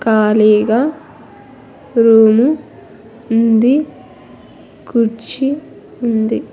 కాళీ గా రూమ్ ఉంది కుర్చీ ఉంది.